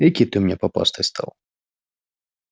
экий ты у меня попастый стал